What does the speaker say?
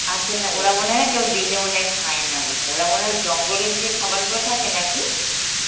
আচ্ছা না ওরা মনে হয় কেউ দিলে মনে হয় খায় না বোধ হয়, ওরা মনে হয় ওই জঙ্গলেরই যে খাবার গুলো থাকে নাকি